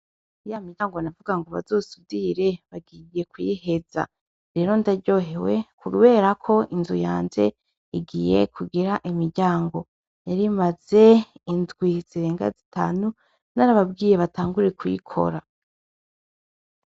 Ya miryango navuga ngo bazosudire bagiye kuyiheza rero ndaryohewe kubera ko inzu yanje igiye kugira imiryango ,yarimaze indwi zirenga zitanu narababwiye batangure kuyikora.